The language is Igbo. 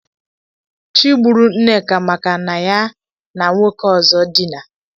Chi gburu Nneka maka na ya na nwoke ọzọ dina.